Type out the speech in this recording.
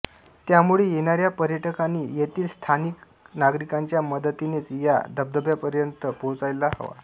त्यामुळे येणाऱ्या पर्यटकांनी येथील स्थानिक नागरिकांच्या मदतीनेच या धबधब्यापर्यंत पोहोचायला हवा